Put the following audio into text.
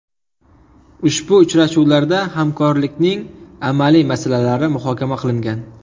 Ushbu uchrashuvlarda hamkorlikning amaliy masalalari muhokama qilingan.